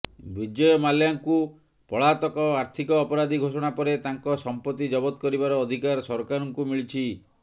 ବିଜୟ ମାଲ୍ୟାଙ୍କୁ ପଳାତକ ଆର୍ଥିକ ଅପରାଧୀ ଘୋଷଣା ପରେ ତାଙ୍କ ସମ୍ପତ୍ତି ଜବତ କରିବାର ଅଧିକାର ସରକାରଙ୍କୁ ମିଳିଛି